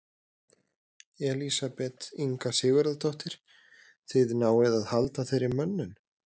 Elísabet Inga Sigurðardóttir: Þið náið að halda þeirri mönnun?